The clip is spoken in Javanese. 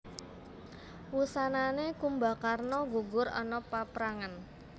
Wusanané Kumbakarna gugur ana paprangan